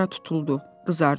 Dilara tutuldu, qızardı.